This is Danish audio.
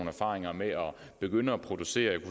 erfaringer med at begynde at producere